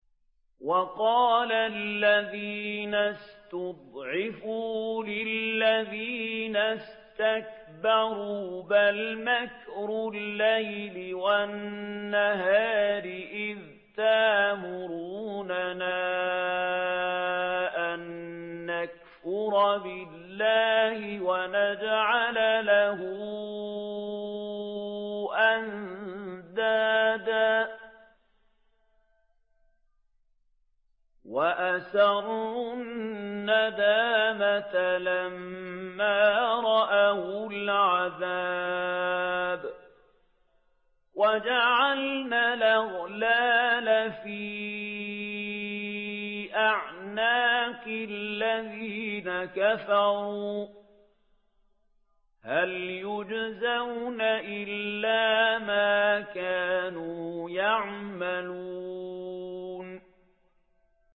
وَقَالَ الَّذِينَ اسْتُضْعِفُوا لِلَّذِينَ اسْتَكْبَرُوا بَلْ مَكْرُ اللَّيْلِ وَالنَّهَارِ إِذْ تَأْمُرُونَنَا أَن نَّكْفُرَ بِاللَّهِ وَنَجْعَلَ لَهُ أَندَادًا ۚ وَأَسَرُّوا النَّدَامَةَ لَمَّا رَأَوُا الْعَذَابَ وَجَعَلْنَا الْأَغْلَالَ فِي أَعْنَاقِ الَّذِينَ كَفَرُوا ۚ هَلْ يُجْزَوْنَ إِلَّا مَا كَانُوا يَعْمَلُونَ